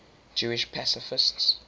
jewish pacifists